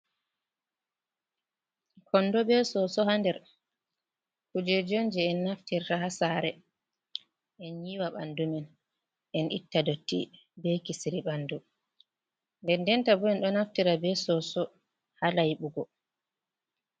Kondo be soso haa nder. Kujejonji on je en naftirta ha saare en yiwa ɓandumen, en itta dotti, be kisiri ɓandu, nden denta bo en ɗo naftira be soso ha laiɓugo.